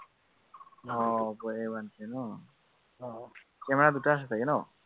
আহ Oppo A one three ন, camera দুটা আছে চাগে ন?